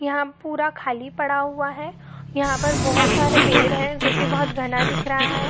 यहाॅं पूरा खाली पड़ा हुआ है यहाॅं पर बहुत सारे पेड़ है जो कि बहुत घना दिख रहा है।